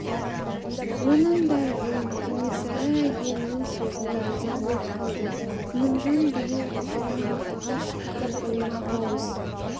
оның да жөн кенесары әйелінің сөзіне риза болып қалды күнімжан биыл жиырма алтыға шыққан оймақ ауыз